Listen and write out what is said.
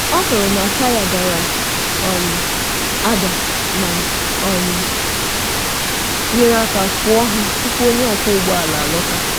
Ọ hụrụ taya dara ada ma nyere aka fụọ ha tupu onye ọkwọ ụgbọ ala alọghachi.